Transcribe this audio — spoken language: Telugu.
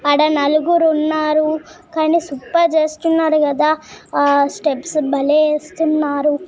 అడ నలుగురు ఉన్నారు కానీ సూపర్ చేస్తున్నారు కదా ఆ స్టెప్స్ బలే వేస్తున్నారు .